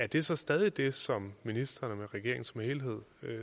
det så stadig det som ministrene og regeringen som helhed